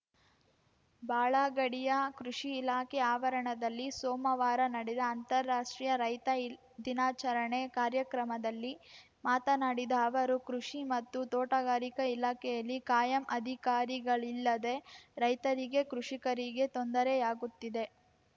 ಬಾಳಗಡಿಯ ಕೃಷಿ ಇಲಾಖೆ ಆವರಣದಲ್ಲಿ ಸೋಮವಾರ ನಡೆದ ಅಂತಾರಾಷ್ಟ್ರೀಯ ರೈತ ದಿನಾಚರಣೆ ಕಾರ್ಯಕ್ರಮದಲ್ಲಿ ಮಾತನಾಡಿದ ಅವರು ಕೃಷಿ ಮತ್ತು ತೋಟಗಾರಿಕಾ ಇಲಾಖೆಯಲ್ಲಿ ಕಾಯಂ ಅಧಿಕಾರಿಗಳಿಲ್ಲದೆ ರೈತರಿಗೆ ಕೃಷಿಕರಿಗೆ ತೊಂದರೆಯಾಗುತ್ತಿದೆ